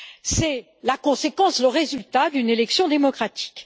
C'est la conséquence, le résultat, d'une élection démocratique.